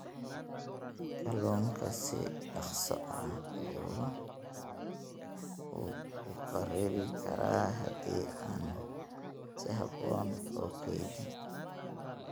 Kalluunka si dhakhso ah ayuu u kharribi karaa haddii aan si habboon loo kaydin.